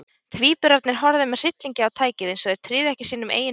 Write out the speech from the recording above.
Tvíburarnir horfðu með hryllingi á tækið, eins og þeir tryðu ekki sínum eigin augum.